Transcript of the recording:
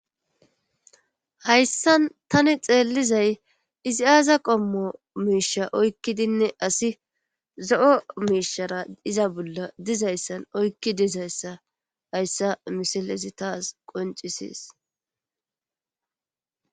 hayssan tani xeelizay izi aaza qommo miisha oykkidinne asi zo7o miishara iza bolla dizayssan oykki dizayssa hayssa misilesi taas qoncisees